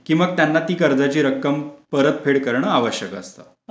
की मग त्यांना ती कर्जाची रक्कम परतफेड करणे आवश्यक असत.